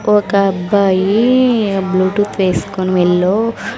ఒకబ్బాయి ఆ బ్లూటూత్ వేస్కోని మెల్లో --